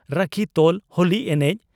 ᱨᱟᱹᱠᱷᱤ ᱛᱚᱞ ᱦᱳᱞᱤ ᱮᱱᱮᱡ